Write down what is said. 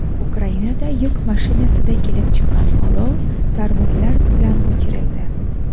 Ukrainada yuk mashinasida kelib chiqqan olov tarvuzlar bilan o‘chirildi.